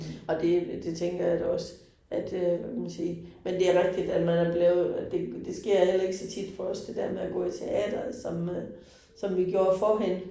Og det det tænker jeg da også, at øh man sige, men det rigtigt, at man er blevet, det det sker heller ikke så tit for os det der med at gå i teatret som øh som vi gjorde førhen